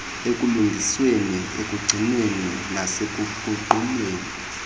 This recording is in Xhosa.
ekulungisweni ekugcinweni nasekuguqulweni